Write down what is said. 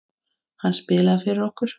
Hann spilaði fyrir okkur!